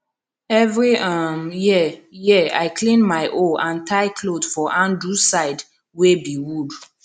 every um year year i clean my hoe and tie cloth for handle side wey b wood